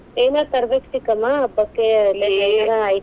ಏನರ ತರಬೇಕ್ ಚಿಕ್ಕಮ್ಮ ಹಬ್ಬಕ್ಕೆ .